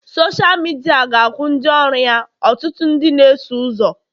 Sọsha midia ga-akwụ ndị ọrụ ya ọtụtụ ndị na-eso ụzọ